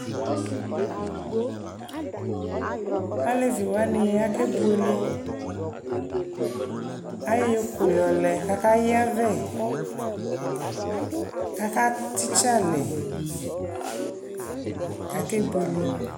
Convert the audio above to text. alɛvi wani akɛ bʋɛlɛ, ayɔ ʋkʋ yɔlɛ kʋ aka yavɛ kʋ aka titsɛ alɛ kʋ akɛ bʋɛlɛ